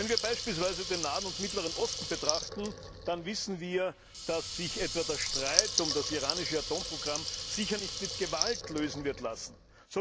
Wenn wir beispielsweise den Nahen und Mittleren Osten betrachten, dann wissen wir, dass sich etwa der Streit um das iranische Atomprogramm sicher nicht mit Gewalt lösen lassen wird.